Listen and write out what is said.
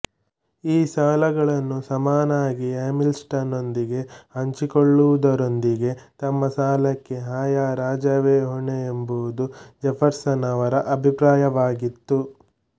ಈ ಸಾಲಗಳನ್ನು ಸಮನಾಗಿ ಹ್ಯಾಮಿಲ್ಟನ್ ನೊಂದಿಗೆ ಹಂಚಿಕೊಳ್ಳುವುದರೊಂದಿಗೆ ತಮ್ಮ ಸಾಲಕ್ಕೆ ಆಯಾ ರಾಜ್ಯವೇ ಹೊಣೆ ಎಂಬುದು ಜೆಫರ್ಸನ್ ರವರ ಅಭಿಪ್ರಾಯವಾಗಿತ್ತು